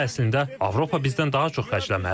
Amma əslində Avropa bizdən daha çox xərcləməlidir.